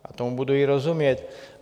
A tomu budu i rozumět.